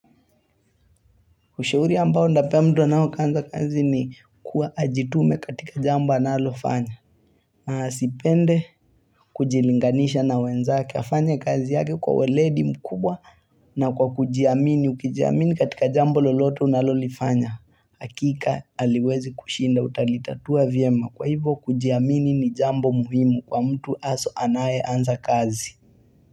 Ushauri ambao ndapemtu anao anza kazi ni kuwa ajitume katika jambo analo fanya. Sipende kujilinganisha na wenzaki afanya kazi yake kwa waledi mkubwa na kwa kujiamini. Ukijiamini katika jambo loloto unalolifanya. Hakika haliwezi kushinda utalitatua vyema. Kwa hivo kujiamini ni jambo muhimu kwa mtu aso anaye anza kazi.